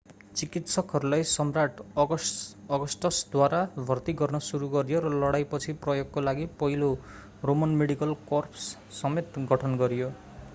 चिकित्सकहरूलाई सम्राट् अगस्टसद्वारा भर्ती गर्न सुरु गरियो र लडाईपछि प्रयोगको लागि पहिलो रोमन मेडिकल कर्प्स समेत गठन गरियो